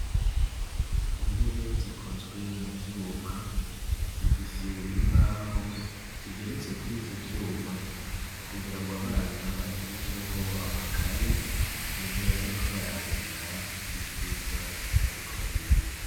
Intebe zikozwe mu vyuma, zifise imbaho zigeretse kuri ivyo vyuma kugirango abana baterekeho amakaye mu gihe bariko barandika ivyigwa bariko bariga.